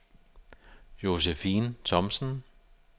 Josefine Thomsen